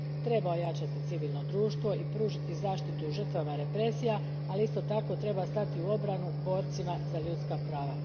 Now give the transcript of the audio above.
Treba ojačati civilno društvo i pružiti zaštitu žrtvama represije, ali isto tako treba stati u obranu boraca za ljudska prava.